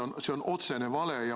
No see on otsene vale.